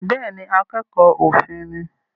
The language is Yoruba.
Bẹ́ẹ̀ ni, akẹ́kọ̀ọ́ òfin ni